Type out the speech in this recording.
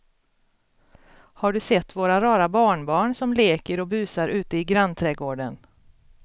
Har du sett våra rara barnbarn som leker och busar ute i grannträdgården!